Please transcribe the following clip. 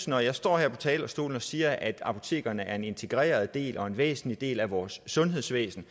når jeg står her på talerstolen og siger at apotekerne er en integreret del og en væsentlig del af vores sundhedsvæsen